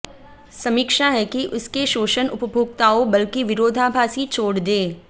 समीक्षा है कि इसके शोषण उपभोक्ताओं बल्कि विरोधाभासी छोड़ दें